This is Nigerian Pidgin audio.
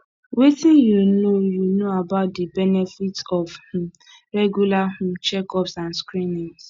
wetin you know you know about di benefits of um regular um checkups and screenings